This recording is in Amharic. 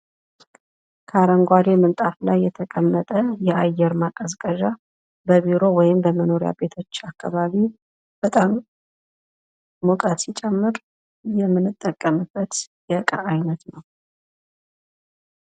ከአረንጓዴ ምንጣፍ ላይ የተቀመጠ የአየር ማቀዝቀዣ በቢሮ ወይም በመኖሪያ ቤቶች አካባቢ በጣም ሙቀት ሲጨምር የምንጠቀምበት የእቃ አይነት ነው።